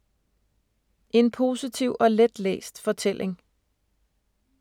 En positiv og let-læst fortælling